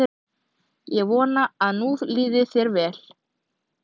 Ég vona að nú líði þér vel.